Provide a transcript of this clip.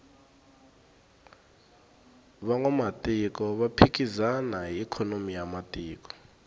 vanwamatiko va phikizana hi ikhonomi ya matiko